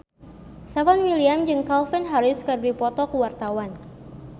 Stefan William jeung Calvin Harris keur dipoto ku wartawan